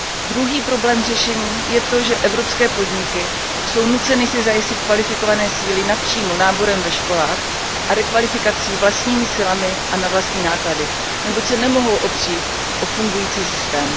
Druhým problémem k řešení je to, že evropské podniky jsou nuceny si zajistit kvalifikované síly přímo, náborem ve školách a rekvalifikací vlastními silami a na vlastní náklady, neboť se nemohou opřít o fungující systém.